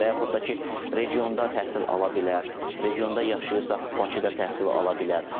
Və yaxud da ki, regionda təhsil ala bilər, regionda yaşayırsa, Bakıda təhsil ala bilər.